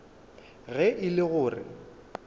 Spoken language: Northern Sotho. ge e le go re